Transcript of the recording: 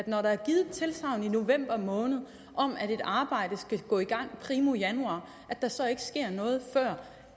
når der er givet et tilsagn i november måned om at et arbejde skal gå i gang primo januar at der så ikke sker noget før